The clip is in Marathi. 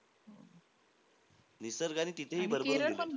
निसर्ग आणि तिथेही भरभरून दिलंय.